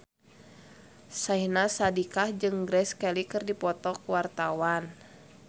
Syahnaz Sadiqah jeung Grace Kelly keur dipoto ku wartawan